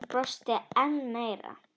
Hann brosti enn meira.